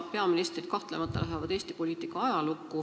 Peaministrid lähevad kahtlemata Eesti poliitika ajalukku.